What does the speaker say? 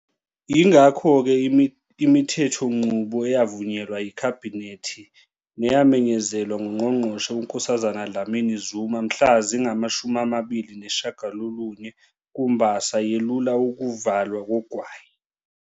Yingakho-ke, imithethonqubo eyavunyelwa yiKhabhinethi neyamenyezelwa nguNgqongqoshe uNkosazana Dlamini-Zuma mhla zingama-29 kuMbasa yelula ukuvalwa kogwayi.